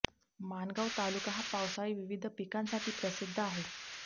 माणगांव तालुका हा पावसाळी विविध पिकांसाठी प्रसिद्ध आहे